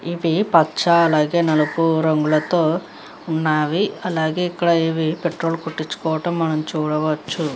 ఇది పచ్చ అలాగే నలుపు రంగులతో ఉన్నవి. అలాగే పెట్రోల్ కొట్టించుకోవటం మనం చూడవచ్చు.